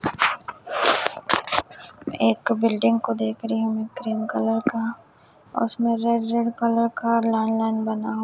एक बिल्डिंग को देख रही हु क्रीम कलर का उसमें रेड रेड कलर का लाइन लाइन बना --